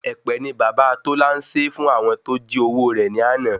Ẹ̀pẹ̀ ni bàbá Tola n sé fún àwọn tó jí owó rẹ̀ ni ana